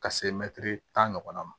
Ka se mɛtiri tan ɲɔgɔn ma